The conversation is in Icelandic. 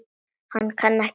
Ég kann ekki neitt.